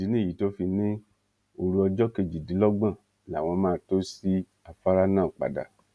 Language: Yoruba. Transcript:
ìdí nìyí tó fi ní òru ọjọ kejìdínlọ́gbọ̀n làwọn máa tó ṣí afárá náà padà